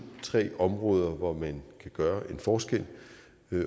tre områder hvor man kan gøre en forskel